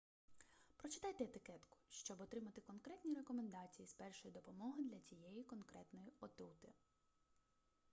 прочитайте етикетку щоб отримати конкретні рекомендації з першої допомоги для цієї конкретної отрути